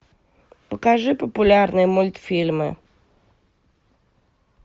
покажи популярные мультфильмы